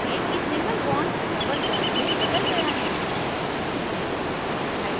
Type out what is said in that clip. देखें कि single bond double bond में बदल गया है